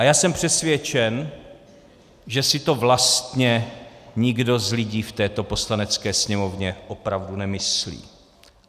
A já jsem přesvědčen, že si to vlastně nikdo z lidí v této Poslanecké sněmovně opravdu nemyslí.